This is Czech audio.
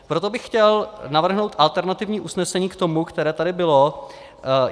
Proto bych chtěl navrhnout alternativní usnesení k tomu, které tady bylo.